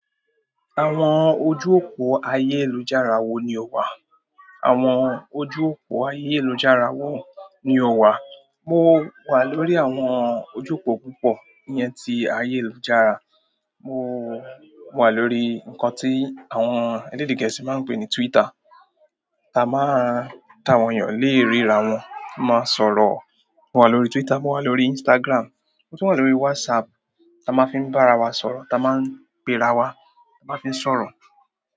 Àwọn ojú òpó ayélujára wo ni o wà? Àwọn ojú òpó ayélujára wo ni o wà? Mo wà lórí àwọn ojú òpó púpọ̀ ìyẹn ti ayélujára. Mo wà lórí nǹkan tí àwọn elédè gẹ̀ẹ́sì máa ń pè ní Twitter, tá a máa, tá àwọn èèyàn lè ríra wọn, máa sọ̀rọ̀. Mo wà lórí Twitter, mo wà lórí Instagram, mo tún wà lórí WhatsApp tí a máa fi ń bá ara wa sọ̀rọ̀, tá a máa ń pe ara wa, tá a máa fi ń sọ̀rọ̀.